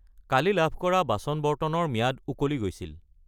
কালি লাভ কৰা বাচন-বৰ্তন ৰ ম্যাদ উকলি গৈছিল।